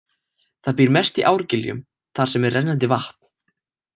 Það býr mest í árgiljum þar sem er rennandi vatn.